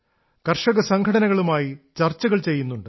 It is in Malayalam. കർഷകസംഘടനകളുമായി ചർച്ചകൾ ചെയ്യുന്നുണ്ട്